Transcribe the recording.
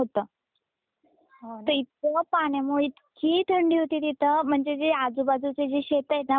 ते इतक त्या पाण्यामुळे इतकी थंडी होती तिथ म्हणजे आजूबाजूचे जे शेतए ना पूर्ण पाणी त्यात मुरलेल होत.